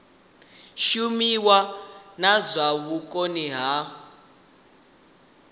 shumiwe na zwa vhukoni ha